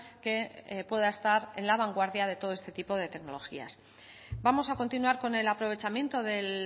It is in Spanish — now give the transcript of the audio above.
que pueda estar en la vanguardia de todo este tipo de tecnologías vamos a continuar con el aprovechamiento del